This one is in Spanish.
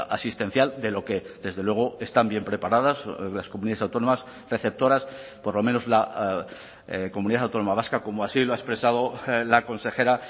asistencial de lo que desde luego están bien preparadas las comunidades autónomas receptoras por lo menos la comunidad autónoma vasca como así lo ha expresado la consejera